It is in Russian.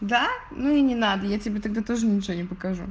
да ну и не надо я тебе тогда тоже ничего не покажу